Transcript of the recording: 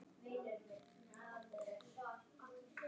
Margir spyrja: Hvað gerðist?